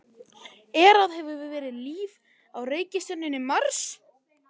Er eða hefur verið líf á reikistjörnunni Mars?